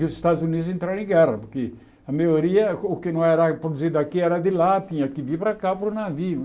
E os Estados Unidos entraram em guerra, porque a maioria, o o que não era produzido aqui era de lá, tinha que vir para cá para o navio.